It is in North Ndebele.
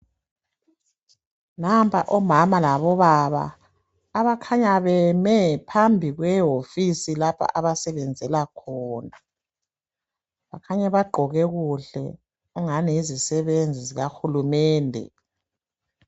Nampa omama labobaba abakhanya beme phambi kwehofisi lapho abasebenzela khona bakhanya bagqoke kuhle ungani yizisebenzi zika hulumende.